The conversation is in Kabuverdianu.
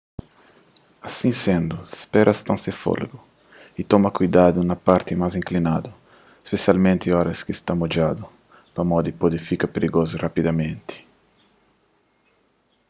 asi sendu spera sta sen folegu y toma kuidadu na parti más inklinadu spesialmenti óras ki sta modjadu pamodi pode fika prigozu rapidamenti